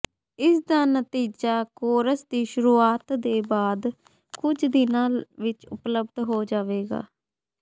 ਇਸ ਦਾ ਨਤੀਜਾ ਕੋਰਸ ਦੀ ਸ਼ੁਰੂਆਤ ਦੇ ਬਾਅਦ ਕੁਝ ਦਿਨ ਵਿੱਚ ਉਪਲੱਬਧ ਹੋ ਜਾਵੇਗਾ